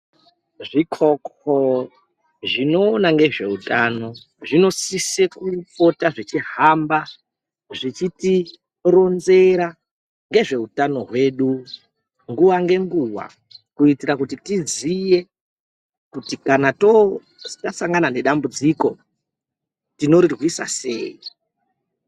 Zvikoko zvinoona ngezveutano zvinosise kupota zvechihamba zvichitironzera ngezveutano hwedu nguwa ngenguwa kuitira kuti tiziye kuti kana tasangana nedambudziko tinorirwisa sei.